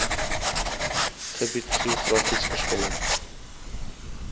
gebied geografies verskillend